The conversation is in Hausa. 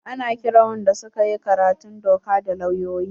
Ana kiran wanda su ka yi karatun doka da lauyoyi.